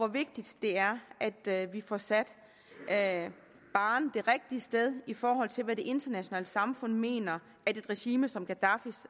vigtigt det er at vi får sat barren det rigtige sted i forhold til hvad det internationale samfund mener at et regime som gaddafis